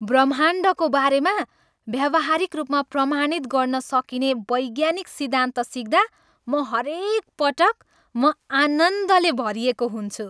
ब्रह्माण्डको बारेमा व्यावहारिक रूपमा प्रमाणित गर्न सकिने वैज्ञानिक सिद्धान्त सिक्दा म हरेकपटक म आनन्दले भरिएको हुन्छु।